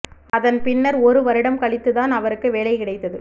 அதன் பின்னர் ஒரு வருடம் கழித்து தான் அவருக்கு வேலை கிடைத்தது